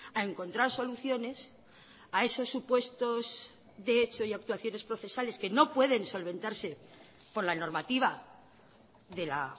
a encontrar soluciones a esos supuestos de hecho y actuaciones procesales que no pueden solventarse por la normativa de la